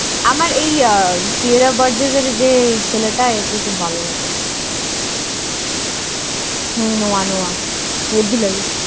আমার এই Sierra Burgess এর যে ছেলেটা একে খুব ভালোলাগে। হুম Noah Noah হেব্বি লাগে।